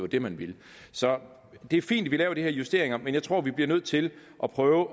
det man ville så det er fint at vi laver de her justeringer men jeg tror at vi bliver nødt til at prøve